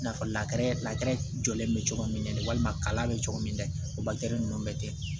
I n'a fɔ jɔlen bɛ cogo min na de walima kalan bɛ cogo min na o ninnu bɛ kɛ